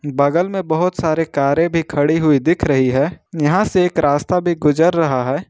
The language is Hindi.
बगल में बहुत सारे कारें भी खड़ी हुई दिख रही है यहां से एक रास्ता भी गुजर रहा है।